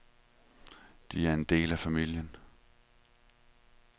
De er en del af familien.